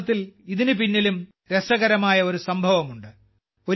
യഥാർത്ഥത്തിൽ ഇതിന് പിന്നിലും രസകരമായ ഒരു സംഭവമുണ്ട്